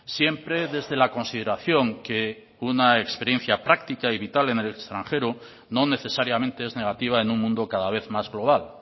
siempre desde la consideración que una experiencia práctica y vital en el extranjero no necesariamente es negativa en un mundo cada vez más global